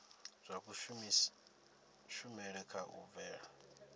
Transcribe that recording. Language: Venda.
zwa kushumele kha u bvela